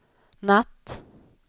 natt